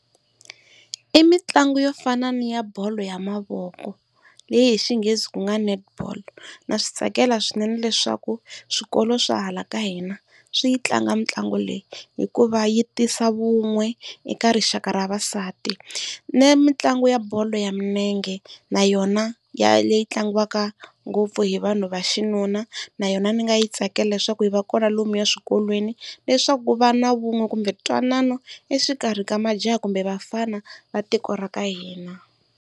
I mitlangu yo fana ni ya bolo ya mavoko leyi hi xinghezi ku nga netball na swi tsakela swinene leswaku swikolo swa hala ka hina swi yi tlanga mitlangu leyi, hikuva yi tisa vun'we eka rixaka ra vavasati. Ni mitlangu ya bolo ya milenge na yona ya leyi tlangiwaka ngopfu hi vanhu va xinuna na yona ndzi nga yi tsakela leswaku yi va kona lomuya swikolweni leswaku ku va na vun'we kumbe ntwanano exikarhi ka majaha kumbe vafana va tiko ra ka hina.